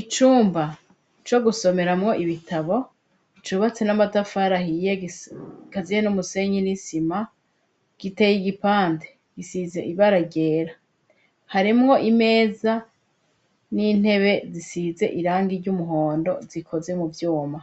Icumba co gusomeramwo ibitabo cubatse n'amatafari ahiye gikaziye n'umusenyi n'isima, giteye igipande gisize ibara ryera, harimwo imeza n'intebe zisize irangi ry'umuhondo zikoze mu vyuma,